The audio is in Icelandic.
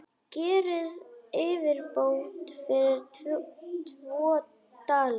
Gerið yfirbót fyrir tvo dali!